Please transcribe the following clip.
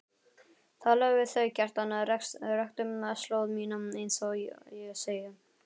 Talaðu við þau, Kjartan, rektu slóð mína einsog ég segi.